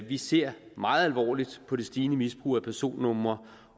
vi ser meget alvorligt på det stigende misbrug af personnumre